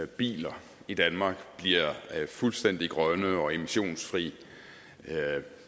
biler i danmark bliver fuldstændig grønne og emissionsfri